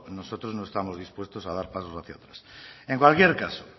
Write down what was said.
nosotros nos estamos dispuestos a dar pasos hacia atrás en cualquier caso